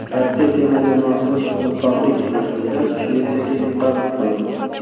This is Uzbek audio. Rossiya terma jamoasi o‘rtoqlik uchrashuvida Shvetsiyaga yutqazib qo‘ydi.